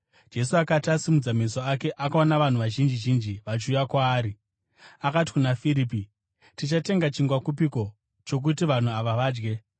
Jesu akati asimudza meso ake akaona vanhu vazhinji zhinji vachiuya kwaari, akati kuna Firipi, “Tichatenga chingwa kupiko chokuti vanhu ava vadye?”